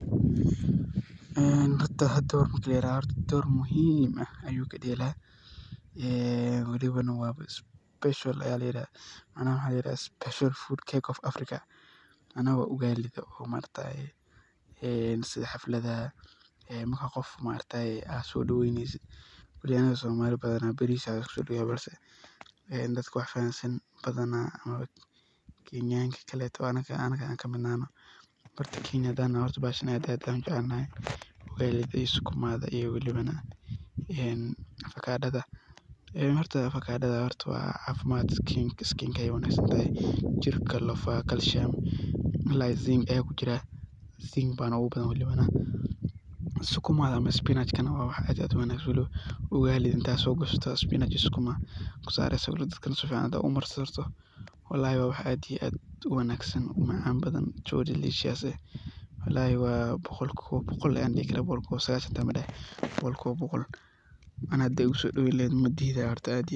Horta cunadan ,dhor muhim ah ayuu kadelaa ,maxana la yi rahda special macnaha waxa layirahda special food ,cake of Africa macnaha waa ugalida maaragtaye Afrika sidha markad qof so daweynesid waliba anaga somali badana baris aa lasiku so daweya balse dadka wax fahansan oo Kenyanka kale oo anaga ka midka nahay. Horta rer Kenya hadan nahay bahashan aad iyo aad ayan u jecel nahay ee Ugalida idho iyo sukumada ,avocadadha horta waa cafimaad ,skinka ayey u wanagsantahay jirka lafaha ,calcium malalayga zinc ayaan ku jira zinc ayana ogu badan . Sukumada ama spinachka waa wax aad iyo aad u wanagsan waliba ,Ugalida intad so gashato sukumada iyo spinachka si fican u marsadato walahi waa wax aad iyo aad u wanagsan oo u macan badan so delicious eh ,walahi boqolkiba boqol ayan dihi karaa ,boqol kiba sagashan hita madahayi boqolkiba boqol aniga horta hadad igu so daweyni laheyd madidhi lahen.